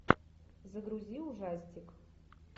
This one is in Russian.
загрузи ужастик